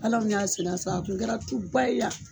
Hala u kun y'a sɛnɛ sa a kun kɛra tu ba ye yan